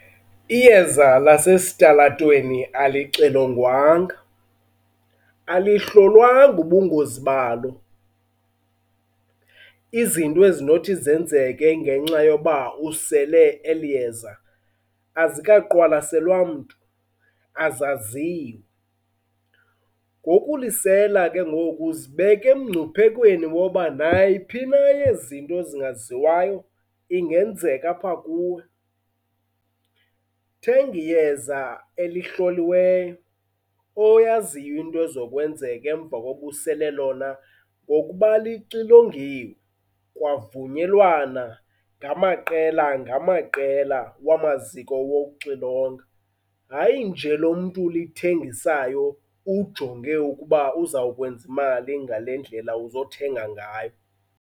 Iyeza lasesitalatweni alixilongwanga, alihlolwanga ubungozi balo. Izinto ezinothi zenzeke ngenxa yoba usele eli yeza, azikaqwalaselwa mntu, azaziwa. Ngokulisela ke ngoku uzibeke mngcuphekweni woba nayiphi yezi zinto zingaziwayo, ingenzeka apha kuwe. Thenga iyeza elihloliweyo oyaziyo into ezokwenzeka emva kokuba usele lona ngokuba lixilongiwe kwavunyelwana ngamaqela ngamaqela wamaziko wokuxilonga, hayi nje lo mntu ulithengisayo ujonge ukuba uzawukwenza imali ngale ndlela uzothenga ngayo.